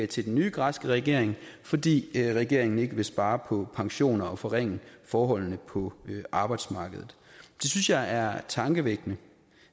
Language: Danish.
til den nye græske regering fordi regeringen ikke vil spare på pensioner og forringe forholdene på arbejdsmarkedet det synes jeg er tankevækkende